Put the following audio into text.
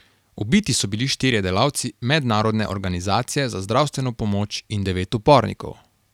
Ubiti so bili štirje delavci mednarodne organizacije za zdravstveno pomoč in devet upornikov.